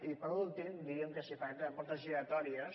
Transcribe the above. i per últim diríem que si parlem de portes giratòries